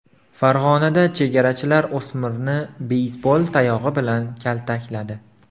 Farg‘onada chegarachilar o‘smirni beysbol tayog‘i bilan kaltakladi .